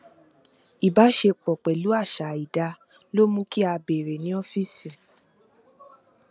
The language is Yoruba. ìbáṣepọ pẹlú àṣà àìdá ló mú kí a bèèrè ní ọfíìsì